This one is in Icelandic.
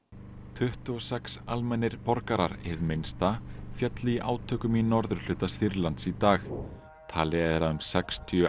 tuttugu og sex almennir borgarar hið minnsta féllu í átökum í norðurhluta Sýrlands í dag talið er að um sextíu